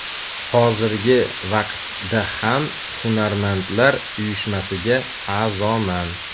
Hozirgi vaqtda ham hunarmandlar uyushmasiga a’zoman.